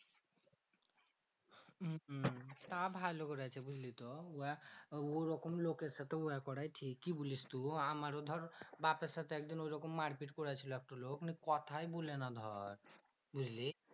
তা ভালো করেছে বুঝলি তো? উহা ওরকম লোকের সাথে উহা করে ঠিক। কি বলিস তু? আমারও ধর বাপের সাথে একদিন ঐরকম মারপিট কইরা ছিল একটা লোক। নিয়ে কথাই বলে না ধর, বুঝলি?